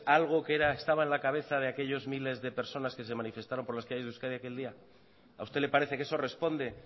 algo que estaba en la cabeza de aquellos miles de personas que se manifestaron por las calles de euskadi aquel día a usted le parece que eso responde